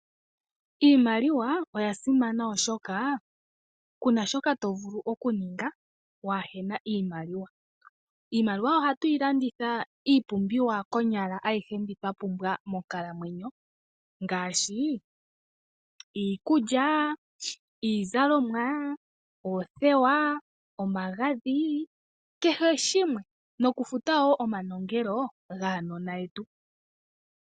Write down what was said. Iimaliwa oyasimana oshoka Kuna shoka tovulu okuninga wahena iimaliwa, iimaliwa oha twilanditha iipumbiwa konyala ayihe mbi twapumbwa monkalamwenyo ngashi, iikulya, iizalomwa, oothewa, omagadhi, kehe shimwe nokufuta wo omanongelo gaanona yetu.